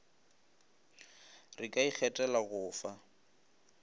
re ka ikgethela go fa